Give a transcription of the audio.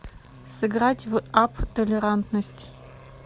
сыграть в апп толерантность